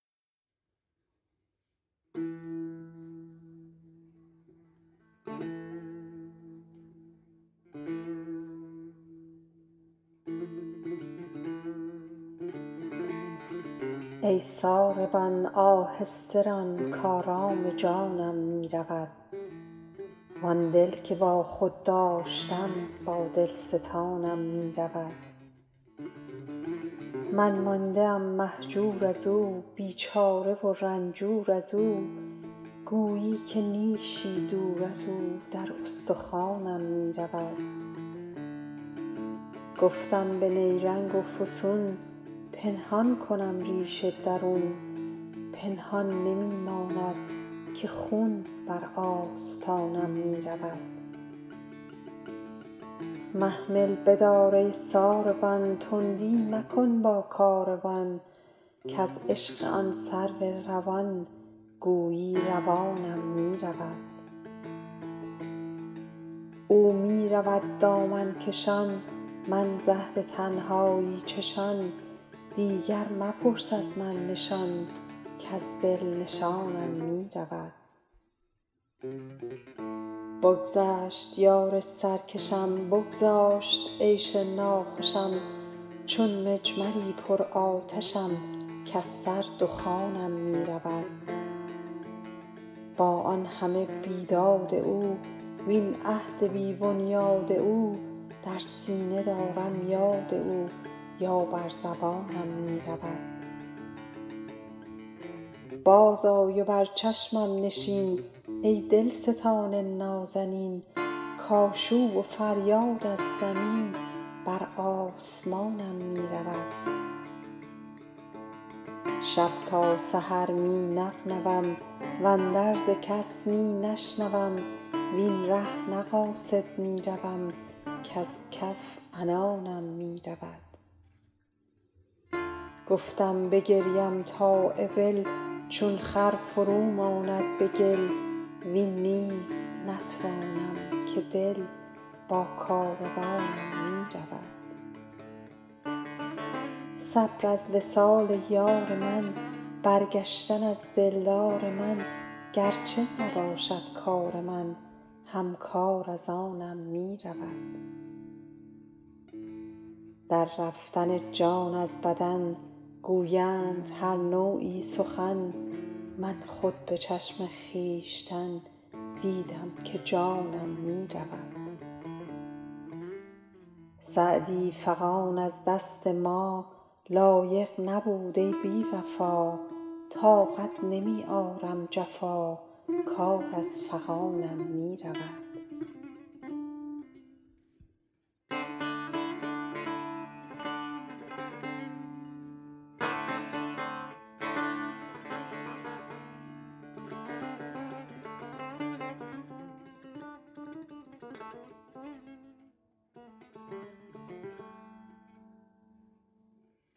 ای ساربان آهسته رو کآرام جانم می رود وآن دل که با خود داشتم با دل ستانم می رود من مانده ام مهجور از او بیچاره و رنجور از او گویی که نیشی دور از او در استخوانم می رود گفتم به نیرنگ و فسون پنهان کنم ریش درون پنهان نمی ماند که خون بر آستانم می رود محمل بدار ای ساروان تندی مکن با کاروان کز عشق آن سرو روان گویی روانم می رود او می رود دامن کشان من زهر تنهایی چشان دیگر مپرس از من نشان کز دل نشانم می رود برگشت یار سرکشم بگذاشت عیش ناخوشم چون مجمری پرآتشم کز سر دخانم می رود با آن همه بیداد او وین عهد بی بنیاد او در سینه دارم یاد او یا بر زبانم می رود بازآی و بر چشمم نشین ای دلستان نازنین کآشوب و فریاد از زمین بر آسمانم می رود شب تا سحر می نغنوم واندرز کس می نشنوم وین ره نه قاصد می روم کز کف عنانم می رود گفتم بگریم تا ابل چون خر فرو ماند به گل وین نیز نتوانم که دل با کاروانم می رود صبر از وصال یار من برگشتن از دلدار من گر چه نباشد کار من هم کار از آنم می رود در رفتن جان از بدن گویند هر نوعی سخن من خود به چشم خویشتن دیدم که جانم می رود سعدی فغان از دست ما, لایق نبود ای بی وفا طاقت نمی آرم جفا کار از فغانم می رود